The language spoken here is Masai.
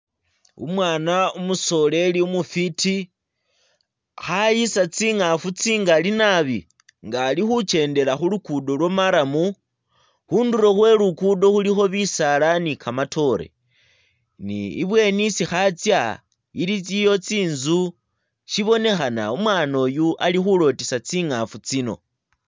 Umwaana umusoreri umufwiti, kha ayisa tsingaafu tsingali nabi nga ali khukendela khu luguudo lwa marram. Khundulo khwe Luguudo khulikho bisaala ni kamatoore ne ibweni isi khatsya iliyo tsinzu, shibonekhana umwaana uyu ali khulotisa tsingaafu tsino.